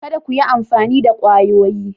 Kada ku yi amfani da kwayoyi.